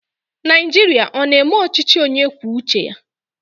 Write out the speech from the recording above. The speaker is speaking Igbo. Nigeria ọ na eme ọchịchị onye kwuo uche ya?